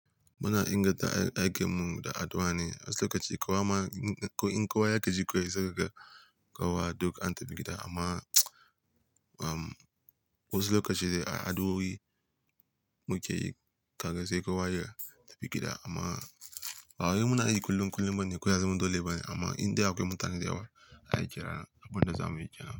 Muna inganta ayyukanmu da addu'a ne. Wasu lokaci kawai ma in kawai ya gaji ku sai ka ga ƙawa duk an tafi gida amma um wasu lokaci dai a addu'o'i mu ke yi kaga sai kawai ya tafi gida amma waye muna yi kullum kullum bane, kuza mu dole bane amma in dai akwai mutane da yawa ai ƙira abin da za mu yi kenan.